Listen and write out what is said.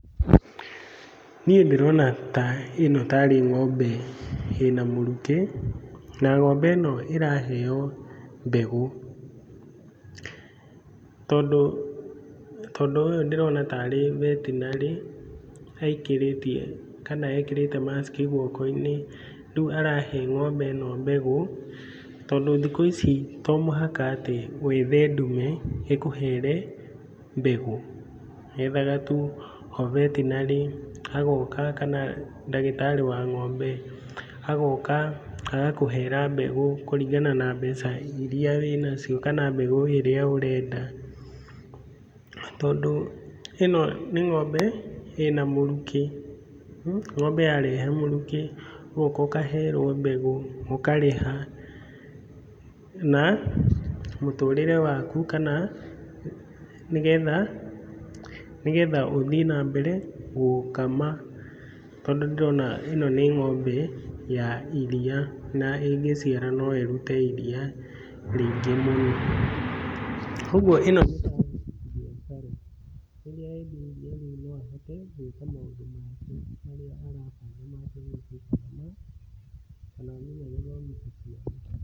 Niĩ ndĩrona ta ĩno tarĩ ng'ombe ĩna mũrukĩ. Na ng'ombe ĩno ĩraheo mbegũ. Tondũ, tondũ ũyũ ndĩrona tarĩ veterinary aingĩrĩtie kana ekĩrĩte mask i guoko-inĩ. Rĩu arahe ng'ombe ĩno mbegũ tondũ thikũ ici to mũhaka atĩ wethe ndume ĩkũhere mbegũ. Wethaga tu o veterinary agoka kana ndagĩtarĩ wa ng'ombe, agoka agakũhera mbegũ kũringana na mbeca iria wĩ nacio kana mbegũ ĩrĩa ũrenda, tondũ ĩno nĩ ng'ombe ĩna mũrukĩ. Ngombe yarehe mũrukĩ ũgoka ũkaherwo mbegũ ũkarĩha na mũtũrĩre waku kana nĩgetha, nĩgetha ũthiĩ na mbere gũkama tondũndĩrona ĩno nĩ ng'ombe ya iria na ĩngĩciara no ĩrute iria rĩingĩ mũno. Ũguo ĩno nĩ ta biacara, rĩrĩa endia iria rĩu no ahote gwĩka maũndũ maingĩ marĩa.